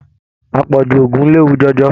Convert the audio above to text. Apọju òògùn léwu jọjọ.